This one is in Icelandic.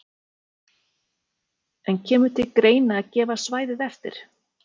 En kemur til greina að gefa svæðið eftir?